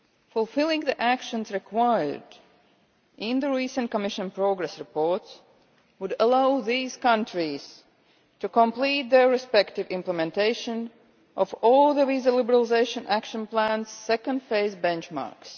Fulfilling the actions required in the recent Commission progress reports would allow these countries to complete their respective implementation of all the Visa Liberalisation Action Plans' second phase benchmarks.